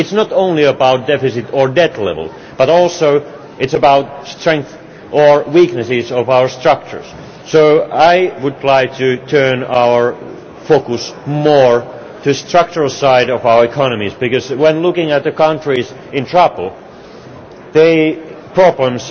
It is not only about deficit or debt level, but it is also about strengths or weaknesses of our structures. So I would like to turn our focus more to the structural side of our economies, because, when looking at the countries in trouble, their problems